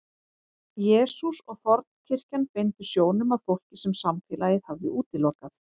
Jesús og fornkirkjan beindu sjónum að fólki sem samfélagið hafði útilokað.